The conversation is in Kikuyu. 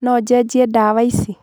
No njĩjie ndawa ici?.